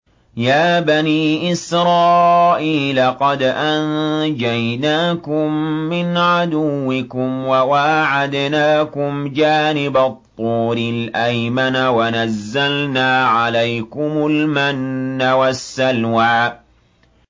يَا بَنِي إِسْرَائِيلَ قَدْ أَنجَيْنَاكُم مِّنْ عَدُوِّكُمْ وَوَاعَدْنَاكُمْ جَانِبَ الطُّورِ الْأَيْمَنَ وَنَزَّلْنَا عَلَيْكُمُ الْمَنَّ وَالسَّلْوَىٰ